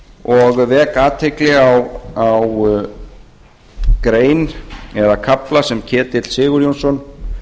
og vek athygli á grein eða kafla sem ketill sigurjónsson